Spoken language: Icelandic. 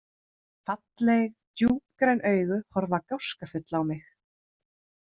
Falleg, djúpgræn augu horfa gáskafull á mig.